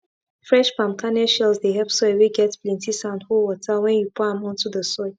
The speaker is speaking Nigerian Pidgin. fresh palm kernel shells dey help soil whey get plenty sand hold water when you pour am onto the soil